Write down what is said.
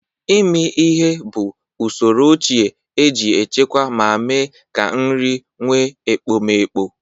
Ịmi ihe bụ usoro ochie e ji echekwa ma mee ka nri nwe ekpomeekpo.